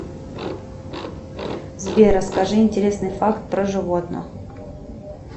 сбер расскажи интересный факт про животных